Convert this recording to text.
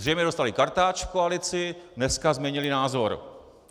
Zřejmě dostali kartáč v koalici, dneska změnili názor.